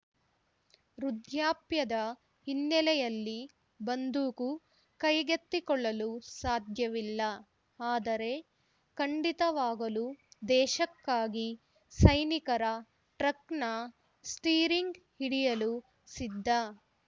ವೃದ್ಧಾಪ್ಯದ ಹಿನ್ನೆಲೆಯಲ್ಲಿ ಬಂದೂಕು ಕೈಗೆತ್ತಿಕೊಳ್ಳಲು ಸಾಧ್ಯವಿಲ್ಲ ಆದರೆ ಖಂಡಿತವಾಗಲೂ ದೇಶಕ್ಕಾಗಿ ಸೈನಿಕರ ಟ್ರಕ್‌ನ ಸ್ಟೀರಿಂಗ್‌ ಹಿಡಿಯಲು ಸಿದ್ಧ